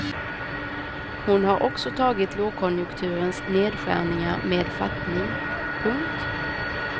Hon har också tagit lågkonjunkturens nedskärningar med fattning. punkt